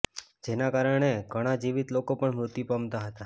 જેના કારણે ઘણા જીવિત લોકો પણ મૃત્યુ પામતા હતા